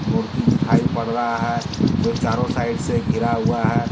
मूर्ति दिखाई पड़ रहा है जो चारो साइड से गिरा हुआ है।